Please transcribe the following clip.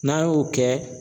N'an y'o kɛ